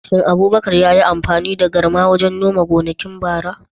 Shin Abubakar yayi amfani da garma wajen noma gonakin bara?